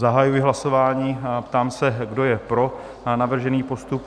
Zahajuji hlasování a ptám se, kdo je pro navržený postup?